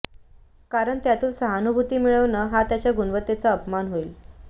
कारण त्यातून सहानूभूती मिळवणं हा त्याच्या गुणवत्तेचा अपमान होईल